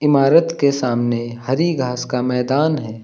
इमारत के सामने हरि घास का मैदान है।